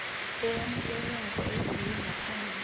eyamukelekako eyenziwe ngaphambi